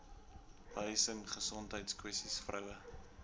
behuising gesondheidskwessies vroue